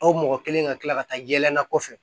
Aw mɔgɔ kelen ka tila ka taa yɛlɛ na kɔfɛ